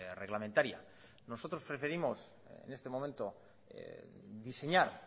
reglamentaria nosotros preferimos en este momento diseñar